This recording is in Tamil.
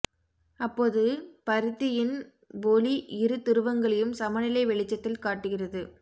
அப்போது பரிதியின் ஒளி இரு துருவங்களையும் சமநிலை வெளிச்சத்தில் காட்டுகிறது